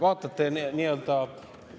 Härra peaminister!